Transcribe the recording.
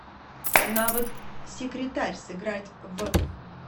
навык секретарь сыграть в